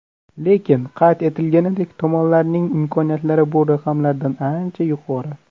Lekin, qayd etilganidek, tomonlarning imkoniyatlari bu raqamlardan ancha yuqori.